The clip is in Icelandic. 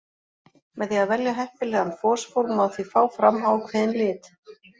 Með því að velja heppilegan fosfór má því fá fram ákveðinn lit.